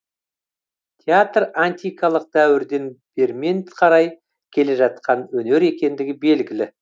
театр антикалық дәуірден бермен қарай келе жатқан өнер екендігі белгілі